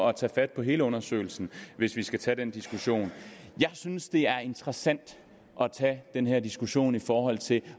at tage fat på hele undersøgelsen hvis vi skal tage den diskussion jeg synes det er interessant at tage den her diskussion i forhold til